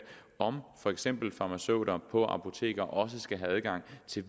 om for eksempel farmaceuter på apoteker også skal have adgang til